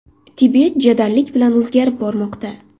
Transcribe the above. Tibet jadallik bilan o‘zgarib bormoqda.